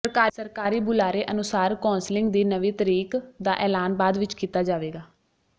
ਸਰਕਾਰੀ ਬੁਲਾਰੇ ਅਨੁਸਾਰ ਕੌਂਸਲਿੰਗ ਦੀ ਨਵੀਂ ਤਰੀਕ ਦਾ ਐਲਾਨ ਬਾਅਦ ਵਿਚ ਕੀਤਾ ਜਾਵੇਗਾ